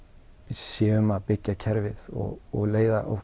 séum að byggja kerfið og og leiða